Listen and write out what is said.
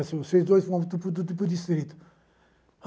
Disseram, vocês dois vão para o distrito.